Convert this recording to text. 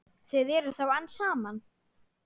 Þið eruð þá enn saman?